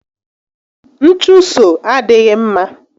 Nchuso adịghị mma